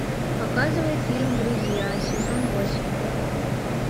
показывай фильм друзья сезон восемь